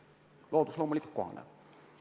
Loodus loomulikult kohaneb.